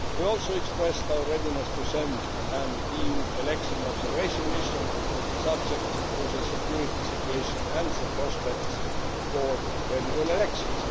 We also expressed our readiness to send an EU Election Observation Mission, subject to the security situation and the prospects for credible elections.